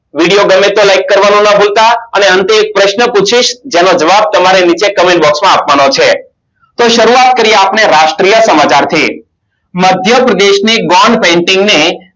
video બને તો like અને અંતે એક પ્રશ્ન પૂછીશ જેનો જવાબ તમારે નીચે Comment box આપવાનો છે તો સરુવાત કરીયે આપણે રાષ્ટ્રીય સમાચારથી મધ્યપ્રદેશની Gone painting ને